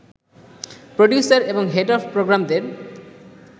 producer এবং head of প্রোগ্রামদের